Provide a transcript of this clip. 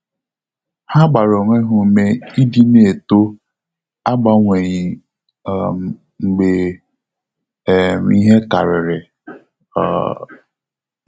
Ha gbara onwe ha ume ịdị na-eto agbanyeghi um mgbe um ihe karịrị um